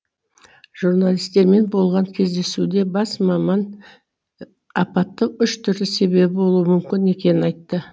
журналистермен болған кездесуде бас маман апаттың үш түрлі себебі болуы мүмкін екенін айтты